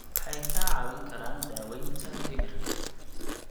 Waxay kaa caawin karaan daaweynta dhimirka.